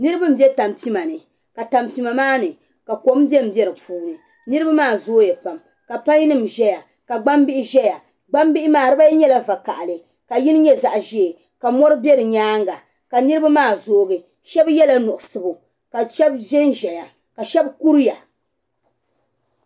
Niriba m-be tampima ni ka tampima maa ni ka kom bembe di puuni. Niriba maa zooya pam ka painnima zaya ka gbambihi zaya. Gbambihi maa dibaayi nyɛla vakahili ka yini nyɛ zaɣ' ʒee ka mɔri be di nyaaŋga ka niriba maa zoogi. Shɛba nyɛla nuɣiso ka shɛba zanzaya ka shɛba kuriya.